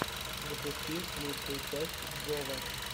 запусти лучшую часть джова